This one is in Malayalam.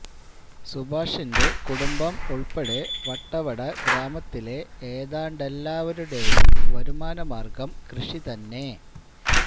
സുഭാഷിന്റെ കുടുംബം ഉൾപ്പെടെ വട്ടവട ഗ്രാമത്തിലെ ഏതാണ്ടെല്ലാവരുടെയും വരുമാനമാർഗം കൃഷി തന്നെ